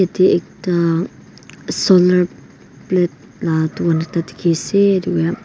yatey ekta solar plate laka dukan ekta dikhiase ed --